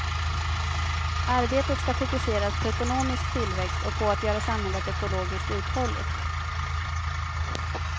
Arbetet ska fokuseras på ekonomisk tillväxt och på att göra samhället ekologiskt uthålligt.